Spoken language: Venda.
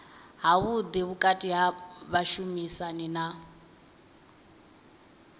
havhuḓi vhukati ha vhashumisani na